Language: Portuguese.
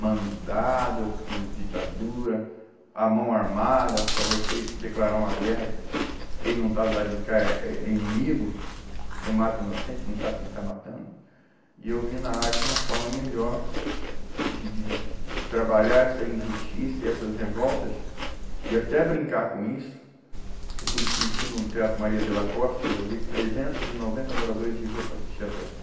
mandado por ditadura a mão armada para você declarar uma guerra quem não está do lado de cá é, é inimigo você mata inocente você não sabe quem está matando e eu vi na arte uma forma melhor de de de de de trabalhar essa injustiça e essas revoltas e até brincar com isso eu pude sentir no teatro Maria de la Costa eu levei trezentos e noventa moradores de rua para assistir a peça